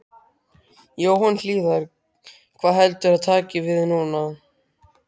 Jóhann Hlíðar: Hvað heldurðu að taki við núna?